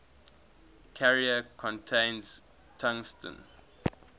carrier contains tungsten